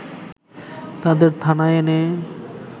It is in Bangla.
তাদের থানায় এনে